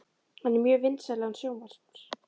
Hann er með mjög vinsælan sjónvarps